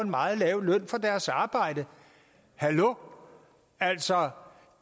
meget lav løn for deres arbejde hallo altså